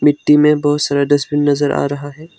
मिट्टी में बहोत सारा डस्टबिन नजर आ रहा है।